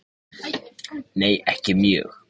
Nei ekki mjög.